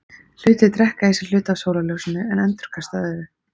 Hlutir drekka í sig hluta af sólarljósinu en endurkasta öðru.